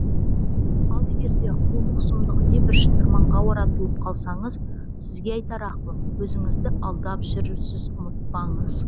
ал егерде қулық сұмдық небір шытырманға оратылып қалсаңыз сізге айтар ақылым өзіңізді алдап жүрсіз ұмытпаңыз